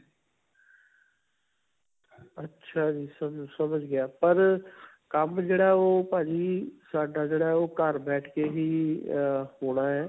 ਅੱਛਾ ਜੀ. ਸਮਝ ਗਿਆ ਪਰ ਕੰਮ ਜਿਹੜਾ ਉਹ ਭਾਜੀ ਸਾਡਾ ਜਿਹੜਾ ਹੈ ਉਹ ਘਰ ਬੈਠ ਕੇ ਹੀ ਹੋਣਾ ਹੈ.